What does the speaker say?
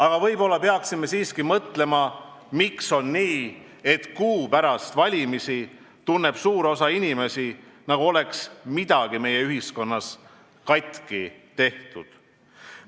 Aga võib-olla peaksime siiski mõtlema, miks on nii, et kuu pärast valimisi tunneb suur osa inimesi, nagu oleks midagi meie ühiskonnas katki tehtud.